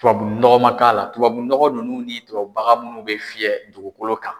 Tubabunɔgɔ man k'a la tubabunɔgɔ ninnu ni tubabubaga munnu bɛ fiyɛ dugukolo kan.